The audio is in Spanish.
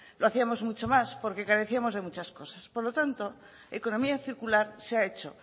lo hacíamos mucho más porque carecíamos de muchas cosas por lo tanto economía circular se ha hecho